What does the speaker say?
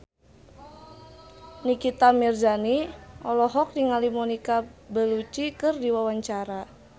Nikita Mirzani olohok ningali Monica Belluci keur diwawancara